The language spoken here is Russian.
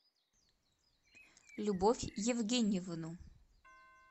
любовь евгеньевну